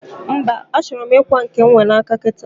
mba, achoro m ikwa nke m nwe n'aka kita